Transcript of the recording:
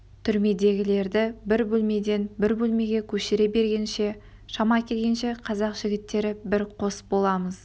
түрмедегілерді бір бөлмеден бір бөлмеге көшіре бергенде шама келгенше қазақ жігіттері бір қос боламыз